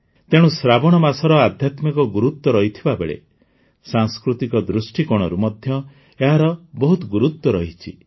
ତେଣୁ ଶ୍ରାବଣ ମାସର ଅଧ୍ୟାତ୍ମିକ ଗୁରୁତ୍ୱ ରହିଥିବା ବେଳେ ସାଂସ୍କୃତିକ ଦୃଷ୍ଟିକୋଣରୁ ମଧ୍ୟ ଏହାର ବହୁତ ଗୁରୁତ୍ୱ ରହିଛି